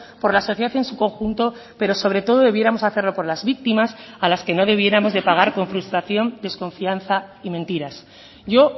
por la sociedad en su conjunto pero sobre todo debiéramos hacerlo por las víctimas a las que no debiéramos de pagar con frustración desconfianza y mentiras yo